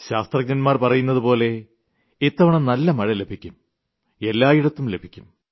ശാസ്ത്രജ്ഞൻമാർ പറയുന്നതുപോലെ ഇത്തവണ നല്ല മഴ ലഭിക്കും എല്ലായിടത്തും ലഭിക്കും